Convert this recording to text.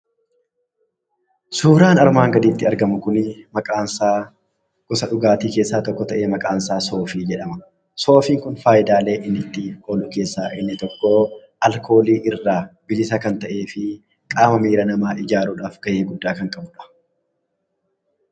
Suuraan armaan gaditti argamu kun maqaansaa gosa dhugaatii keessaa tokko ta'ee, maqaansaa soofii jedhama. Soofiin kun faayidaaleen inni ooluuf keessaa inni tokko, alkoolii irraa bilisa kan ta'ee fi qaama namaa ijaaruudhaaf gahee guddaa kan qabuudha.